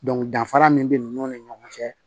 Dɔnfara min bɛ ninnu ni ɲɔgɔn cɛ